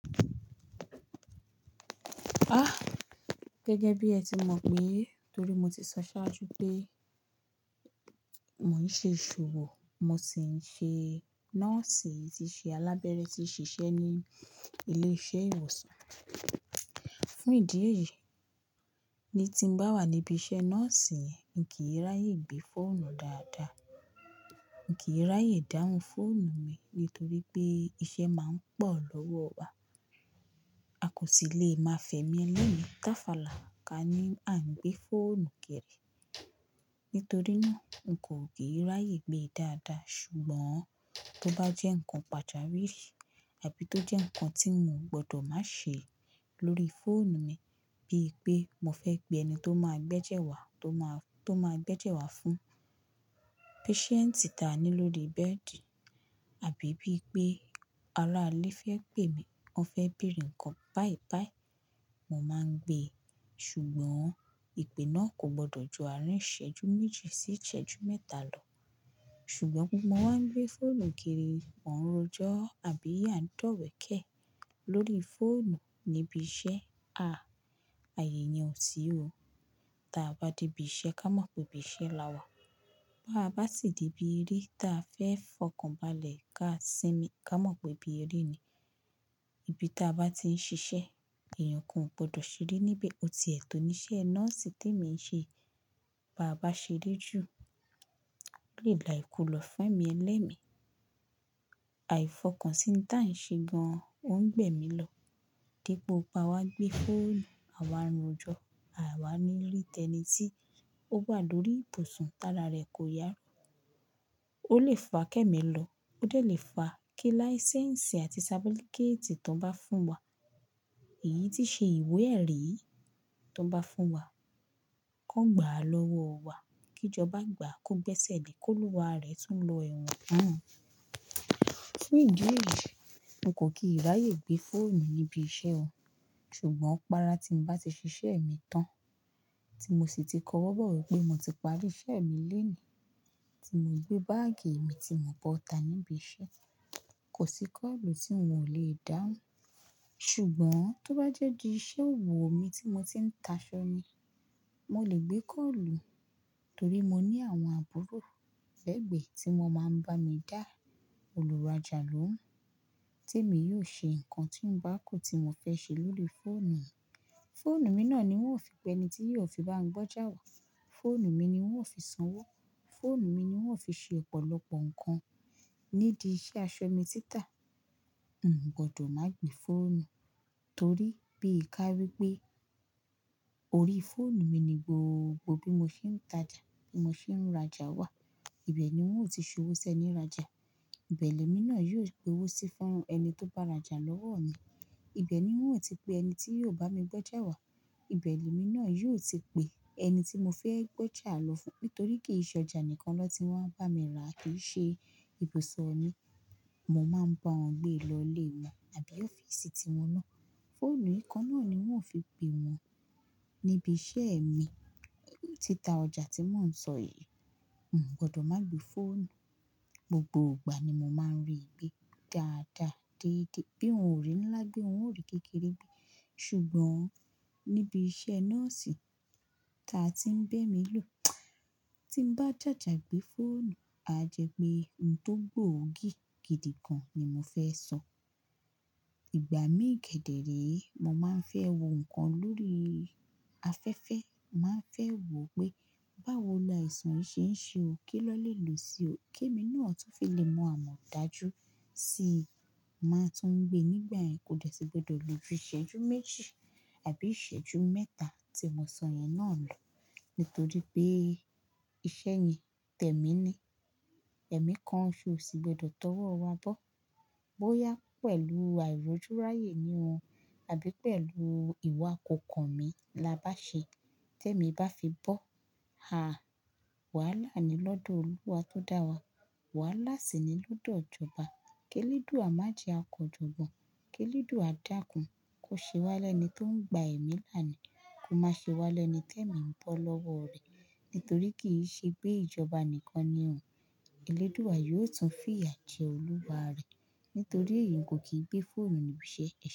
Gẹ́gẹ́ bí ẹ ti mọ̀ pé, torí mo ti sọ sáájú pé, mò ń ṣe ìṣòwò, mo sì ń ṣe nọ́ọ̀sì, tí ṣe alábẹ́rẹ́, tí ń ṣiṣẹ́ ní ilé-iṣẹ́ ìwòsàn. Fún ìdí èyí, ní tí ń bá wà níbi iṣẹ́ nọ́ọ̀sì yẹn, mi kìí ráyè gbé fóònù dáadáa. Kìí ráyè dáhùn fóònù mi nítorí pé iṣẹ́ máa ń pọ̀ lọ́wọ́ wa. A kò sì le máa fẹ̀mí ẹlẹ́mi táfàlà ká ní à ń gbé fóònù géèrè. Nítorí náà, un kò kí í ráyè gbe dáadáa. Ṣùgbọ́n tó bá jẹ́ ǹkan pàjawiri àbí tó jẹ́ ǹkan tí mo gbọdọ̀ má ṣe lórí fóònù mi, bíi pé mo fẹ́ pe ẹni tó máa gbẹ́jẹ̀ ẹ wa, tó máa gbẹ́jẹ̀ ẹ wa fún patient táa ní lórí bẹ́ẹ̀dì àbí bíi pé aráilé fẹ́ pè mi, wọ́n fẹ́ bèèrè ǹkan báìbàí, mo máa ń gbé. Ṣùgbọ́n ìpè náà kò gbọdọ̀ ju àárín ìṣẹ́jú méjì sí ìṣẹ́jú mẹ́ta lọ. Ṣùgbọ́n pe mo wá ń gbé fóònù kiri, wọ́n ń roju àbí á ń dọ̀wẹ̀kẹ̀ lórí fóònù níbi iṣẹ́. Ààyè yan ò sí o. Taa bá dé ibi iṣẹ́, ká mọ̀ pé ibi iṣẹ́ la wà. Báà bá sì dé ibi eré, ta fẹ́ fọkàn balẹ̀ ká sinmi, ká mọ̀ pé ibi eré ni. Ibi ta bá ti ń ṣiṣẹ́, ẹ̀yàn nkan gbọdọ̀ ṣeré níbẹ̀. O ti ẹ̀ tò ní iṣẹ́ nọ́ọ̀sì tèmi ń ṣe, bá bàá ṣeré jù, olè la ìkolọ̀ fun ẹ́mi ẹlẹ́mi. Àìfọkànsìn ohun táa ń ṣe gan-an o ń gbẹ́mi lọ. Pé gbogbo wa gbé fóònù, àwa ń rojọ́, àwa ní ri tẹ́nìtì, ó wà lórí ibùsùn, tára rẹ kò yá Ó lè fa kẹ́mi lọ, ó dè lè fa kí láísẹ́ǹsì àti sàbúlíkétì tó bá fún wa, èyí tí ṣe ìwé ẹ̀rí, tó bá fún wa kó gbà á lọ́wọ́ wa, kí ìjọba gbà á kó gbẹ́sẹ̀ lé, kóluwa rẹ̀ tún lọ ẹ̀wọ̀n. Fún ìdí èyí, n kò kí í ráyè gbé fóònù níbi iṣẹ́ o. Ṣùgbọ́n gbára tí ń bá ti ṣiṣẹ́ mi tán, tí mo sì ti kọwọ́ bọ̀ wí pé mo ti parí iṣẹ́ mi lónìí, tí mo gbé báàgì mi, tí mo bọ́ta níbi iṣẹ́, kò sí kọ́ọ̀lù tí n ò lè dáhùn. Ṣùgbọ́n tó bá jẹ́ bi iṣẹ́ òwò mi tí mo ti ń taṣọ ni, mo lè gbé kọ́ọ̀lù torí mo ní àwọn àbúrò lẹ́gbe tí wọ́n máa ń bá mi dá olùrajalóhun tí èmi yóò ṣe ǹkan tí ń bá kó tí mo fẹ́ ṣe lórí fóònù mi. Fóònù mi náà ni wọ́n ó fi pe ẹni tí yóò fi bá mi gbọ́jà wà. Fóònù mi ni wọ́n ó fi sanwó. Fóònù mi ni wọ́n ó fi ṣe ọ̀pọ̀lọpọ̀ ǹkan. Nídìí iṣẹ́ aṣọ mi títà, n kò gbọdọ̀ má gbé fóònù, torí bí i ká wípé orí fóònù mi ni gbogbo bí mo ṣe ń tajà, bí mo ṣe ń rajà wà. Ibẹ̀ ni wọn ó ti sowó sẹ́nírajà. Ibẹ̀ lẹ́mi náà yóò gbo owó sí fún ẹni tó bá rajà lọ́wọ́ mi. Ibẹ̀ ni wọn ó ti pe ẹni tí yóò bá mi gboja wà. Ibẹ̀ lẹ́mi náà yóò ti pe ẹni tí mo fẹ́ gbọ́jà lọ fún, nítorí kì í ṣe ọjà nìkan lọ tí wọn bá mi ra, ki ṣe ibùse mi, mo máa ń bá wọn gbé e lọlé wọn àbí ọ́fíìsì tí wọn ná. Fóònù nkan náà ni wọn ó fi pè wọ́n, níbi iṣẹ́ mi. Títa ọjà tí mò ń sọ yìí, n kò gbọdọ̀ má gbé fóònù. Gbogbo gbà ni mo máa ń rí gbé dáadáa, déédéé, bí òhun ò rí ńlá gbé, òhun ò rí kékeré gbé. Ṣùgbọ́n níbi iṣẹ́ nọ́ọ̀sì ta tí ń bẹ́ emi lò, tí ń bá jàjà gbé fóònù, a jẹ pé ǹ tó gbóògì gidi kan ni mo fẹ́ sọ. Ìgbà míì kẹ̀dẹ̀ re, mo máa ń fẹ́ wo ǹkan lórí afẹ́fẹ́. Màá fẹ́ wò pé, báwo la ìsàn yìí ṣe ń ṣe o, ki won lelo sí, kè mi náà tó fi lè mọ àmọ̀dájú sìi, máa tún gbé nígbà yen, kò dẹ̀ sí gbọdọ̀ lo ju ìṣẹ́jú méjì àbí ìṣẹ́jú mẹ́ta tí mo sọ yẹn náà lọ. Nítorí pé, iṣẹ́ yìí tẹ̀mi ni. Ẹ̀mí kan ṣosò, kosì gbọdọ̀ tọwọ́ wa bọ́. Bóyá pẹ̀lú àìrójúráyè ni o àbí pẹ̀lú ìwà kòkàn mí la bá ṣe. Tẹ́mi bá fi bọ́, Wàhálà ni lọ́dọ̀ Olúwa tó dá wa. Wàhálà sì ni lọ́dọ̀ ìjọba. Kẹ́ledùù à má jẹ à kejọgbọ̀. Kẹ́ledùù à dákún. Ò ṣe wá lẹ́ẹni tó ń gba ẹ̀mí láni Kò má ṣe wá lẹ́ẹni tẹ́mi ń bọ́ lọ́wọ́ rẹ̀, nítorí kì í ṣe pé ìjọba nìkan ni ò. Elédùù à yóò tún fìyà jẹ olúwa rẹ̀. Nítorí èyí n kò kí gbé fóònù níbi iṣẹ́